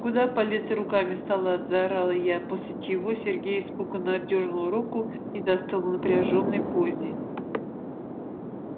куда полез руками в салат заорала я после чего сергей испуганно отдёрнул руку и застыл в напряжённой позе